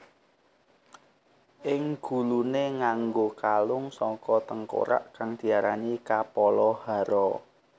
Ing guluné nganggo kalung saka tengkorak kang diarani Kapala Hara